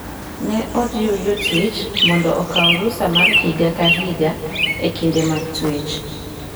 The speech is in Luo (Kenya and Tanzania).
Ne ojiw jotich mondo okaw rusa mar higa ka higa e kinde mag twech.